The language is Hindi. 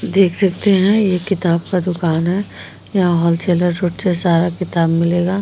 देख सकते हैं। ये किताब का दुकान है। यहां होल सेलर से सारा किताब मिलेगा।